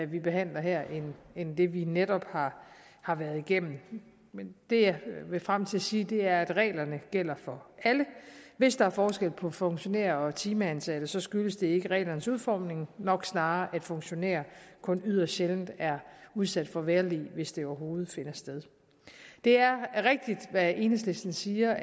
vi behandler her end det vi netop har har været igennem men det jeg vil frem til at sige er at reglerne gælder for alle hvis der er forskel på funktionærer og timeansatte skyldes det ikke reglernes udformning men nok snarere at funktionærer kun yderst sjældent er udsat for vejrlig hvis det overhovedet finder sted det er rigtigt hvad enhedslisten siger